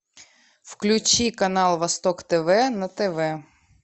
включи канал восток тв на тв